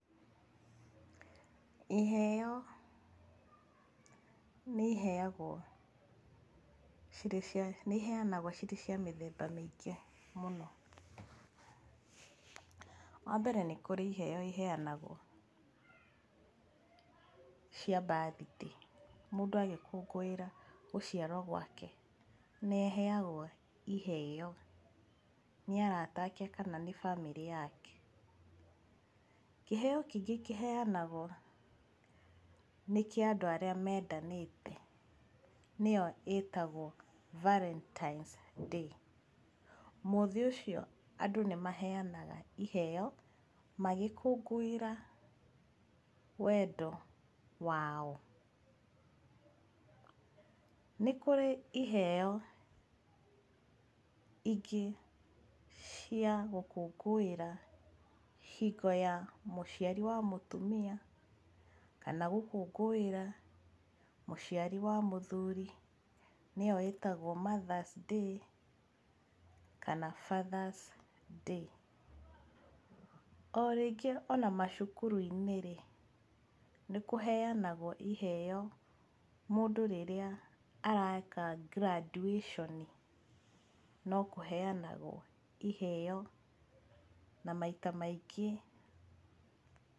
Iheo nĩiheagwo cirĩ cia nĩiheanagwo cirĩ cia mĩthemba mĩingĩ mũno. Wambere nĩ kũrĩ iheo iheanagwo cia birthday mũndũ agĩkũngũĩra gũciarwo gwake nĩaheagwo iheo nĩ arata ake kana nĩ bamĩrĩ yake. Kĩheo kĩngĩ kĩheanagwo nĩ kĩa andũ arĩa mendanĩte nĩyo ĩtagwo valentines day, mũthĩ ũcio andũ nĩmaheanaga iheo magĩkũngũĩra wendo wao. Nĩ kũrĩ iheo ingĩ cia gũkũngũĩra hingo ya mũciari wa mũtumia kana gũkũngũĩra mũciari wa mũthuri nĩyo ĩtagwo mother's day kana father's day, o rĩngĩ ona macukuru-inĩ rĩ, nĩkũheanagwo iheo mũndũ rĩrĩa areka graduation no kũheanagwo iheo na maita maingĩ.